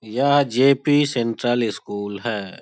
यह J P. Central school है।